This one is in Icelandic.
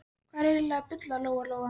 Hvað ertu eiginlega að bulla, Lóa Lóa?